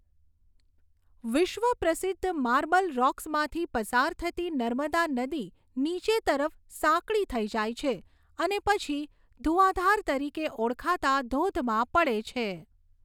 વિશ્વ પ્રસિદ્ધ માર્બલ રોક્સમાંથી પસાર થતી નર્મદા નદી નીચે તરફ સાંકડી થઈ જાય છે અને પછી ધુંઆધાર તરીકે ઓળખાતા ધોધમાં પડે છે.